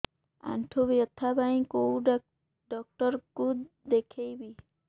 ଆଣ୍ଠୁ ବ୍ୟଥା ପାଇଁ କୋଉ ଡକ୍ଟର ଙ୍କୁ ଦେଖେଇବି